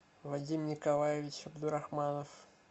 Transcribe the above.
вадим николаевич абдурахманов